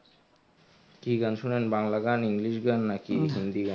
কি গান শোনেন বাংলা গান english গান নাকি হিন্দি গান.